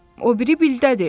O biri bildədir.